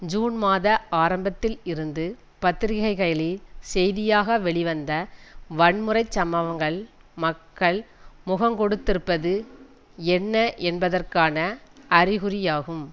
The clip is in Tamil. ஜூன் மாத ஆரம்பத்தில் இருந்து பத்திரிகைகளில் செய்தியாக வெளிவந்த வன்முறை சம்பவங்கள் மக்கள் முகங்கொடுத்திருப்பது என்ன என்பதற்கான அறிகுறியாகும்